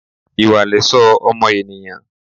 Ìwà lẹ̀ṣọ́ ọmọ ènìyàn.